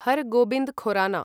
Har Gobind Khorana